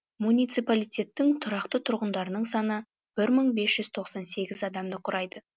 муниципалитеттің тұрақты тұрғындарының саны бір мың бес жүз тоқсан сегіз адамды құрайды